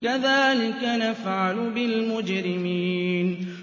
كَذَٰلِكَ نَفْعَلُ بِالْمُجْرِمِينَ